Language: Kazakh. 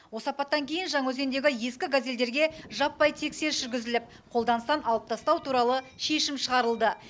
осы апаттан кейін жаңаөзендегі ескі газельдерге жаппай тексеріс жүргізіліп қолданыстан алып тастау туралы шешім шығарылды